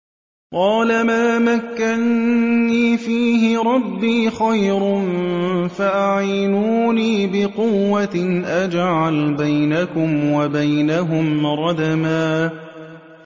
قَالَ مَا مَكَّنِّي فِيهِ رَبِّي خَيْرٌ فَأَعِينُونِي بِقُوَّةٍ أَجْعَلْ بَيْنَكُمْ وَبَيْنَهُمْ رَدْمًا